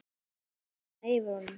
Svo lifnaði yfir honum.